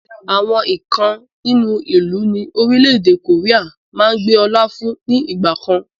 àwọn èèkàn nínú ìlú ni Orílẹ̀ èdè koría máa ń gbé ọ̀la fún ní ìgbàkan